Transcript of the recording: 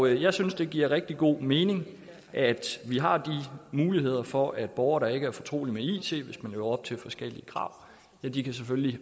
jeg synes det giver rigtig god mening at vi har de muligheder for at en borger der ikke er fortrolig med it hvis man lever op til forskellige krav selvfølgelig kan